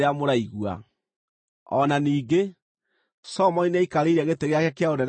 O na ningĩ, Solomoni nĩaikarĩire gĩtĩ gĩake kĩa ũnene gĩa ũthamaki.